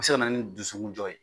Bɛ se ka na ni dusukun jɔ ye.